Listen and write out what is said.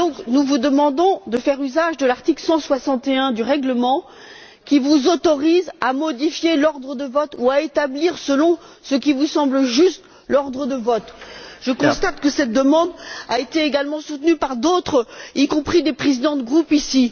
Nous vous demandons de faire usage de l'article 161 du règlement, qui vous autorise à modifier l'ordre de vote ou à établir, selon ce qui vous semble juste, l'ordre de vote. Je constate que cette demande a également été soutenue par d'autres, y compris certains présidents de groupe ici.